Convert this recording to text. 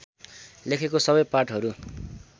लेखेको सबै पाठहरू